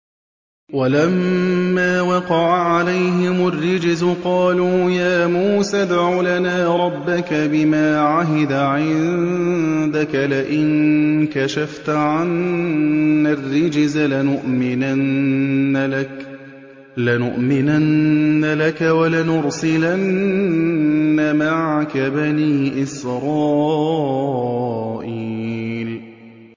وَلَمَّا وَقَعَ عَلَيْهِمُ الرِّجْزُ قَالُوا يَا مُوسَى ادْعُ لَنَا رَبَّكَ بِمَا عَهِدَ عِندَكَ ۖ لَئِن كَشَفْتَ عَنَّا الرِّجْزَ لَنُؤْمِنَنَّ لَكَ وَلَنُرْسِلَنَّ مَعَكَ بَنِي إِسْرَائِيلَ